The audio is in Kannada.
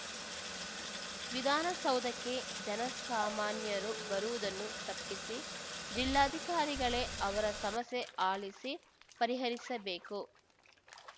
ವಿಧಾನಸೌಧಕ್ಕೆ ಜನಸಾಮಾನ್ಯರು ಬರುವುದನ್ನು ತಪ್ಪಿಸಿ ಜಿಲ್ಲಾಧಿಕಾರಿಗಳೇ ಅವರ ಸಮಸ್ಯೆ ಆಲಿಸಿ ಪರಿಹರಿಸಬೇಕು